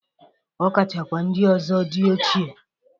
Ọ kachakwa ndị ọzọ dị ochie.